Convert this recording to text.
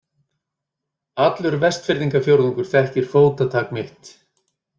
Allur Vestfirðingafjórðungur þekkir fótatak mitt.